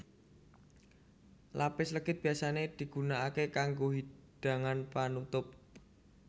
Lapis legit biyasané digunakaké kanggo hidangan panutup